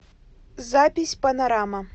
запись панорама